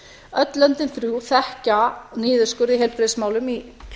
öll löndin þrjú þekkja niðurskurð í heilbrigðismálum í